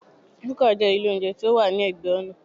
Búkà jẹ́ ilé óúnjẹ tí ó wà ní ẹ̀gbẹ́ ọ̀nà